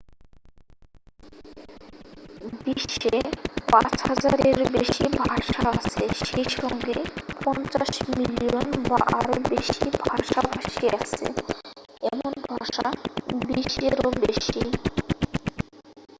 বিশ্বে 5000 এরও বেশি ভাষা আছে সেই সঙ্গে 50 মিলিয়ন বা আরও বেশি ভাষাভাষী আছে এমন ভাষা 20 এরও বেশি